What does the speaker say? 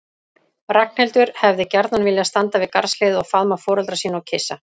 Ragnhildur hefði gjarnan viljað standa við garðshliðið og faðma foreldra sína og kyssa.